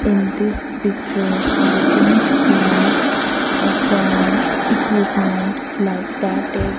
in this picture i can see ah some equipment like that is--